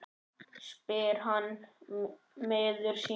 spyr hann miður sín.